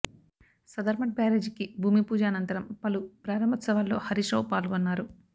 సదర్ మట్ బ్యారేజీకి భూమిపూజ అనంతరం పలు ప్రారంభోత్సవాల్లో హరీశ్ రావు పాల్గొన్నారు